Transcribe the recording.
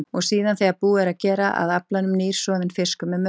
Og síðan, þegar búið er að gera að aflanum, nýr, soðinn fiskur með mörfloti.